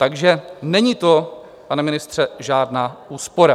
Takže není to, pane ministře, žádná úspora.